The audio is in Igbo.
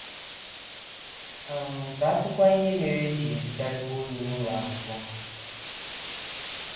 um Ka a sịkwa ihe mere e ji ezukarịkwa ohi n’ụlọ akwụkwọ! ”